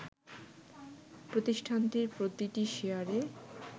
প্রতিষ্ঠানটির প্রতিটি শেয়ারে